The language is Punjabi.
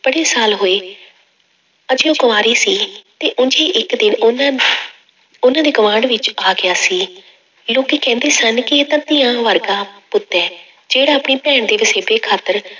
ਬੜੇ ਸਾਲ ਹੋਏ ਅਜੇ ਉਹ ਕੁਆਰੀ ਸੀ ਤੇ ਉਞ ਹੀ ਇੱਕ ਦਿਨ ਉਹਨਾਂ ਉਹਨਾਂ ਦੇ ਗੁਆਂਢ ਵਿੱਚ ਆ ਗਿਆ ਸੀ, ਲੋਕੀ ਕਹਿੰਦੇ ਸਨ ਕਿ ਇਹ ਤਾਂ ਧੀਆਂ ਵਰਗਾ ਪੁੱਤ ਹੈ, ਜਿਹੜਾ ਆਪਣੀ ਭੈਣ ਦੇ ਵਸੇਬੇ ਖਾਤਰ